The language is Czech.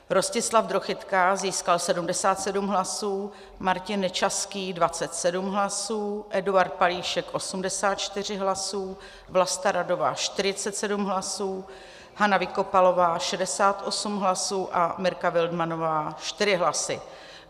Rostislav Drochytka získal 77 hlasů, Martin Nečaský 27 hlasů, Eduard Palíšek 84 hlasů, Vlasta Radová 47 hlasů, Hana Vykopalová 68 hlasů a Mirka Wildmannová 4 hlasy.